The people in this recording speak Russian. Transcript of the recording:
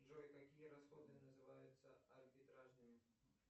джой какие расходы называются арбитражными